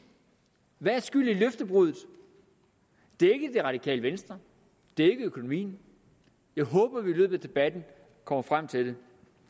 hvad skyldes løftebruddet det er ikke det radikale venstre det er ikke økonomien jeg håber vi i løbet af debatten kommer frem til det